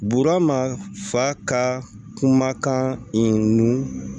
Buurama fa ka kumakan in nu